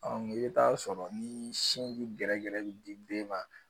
i bɛ taa sɔrɔ ni sin jirɛ bɛ di den ma